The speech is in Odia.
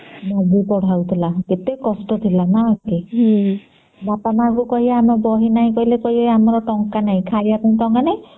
ମାଗିକି ପଢା ହଉଥିଲେ କେତେ କଷ୍ଟ ଥିଲା ନ କି ବାପ ମାଙ୍କୁ କହିବା ଆମର ବହି ନାହିଁ ବୋଇଲେ କହିବେ ଆମର ଟଙ୍କା ନାହିଁ ଖାଇବା ପାଇଁ ଟଙ୍କା ନାହିଁ